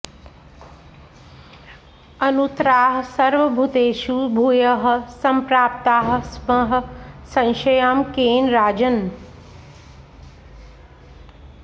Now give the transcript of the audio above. अनुत्तराः सर्वभूतेषु भूयः सम्प्राप्ताः स्मः संशयं केन राजन्